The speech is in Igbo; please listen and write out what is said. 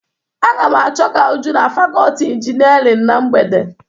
Aga m achọga Uju na fakọọti injinarịn na mgbede.